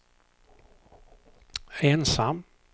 ensam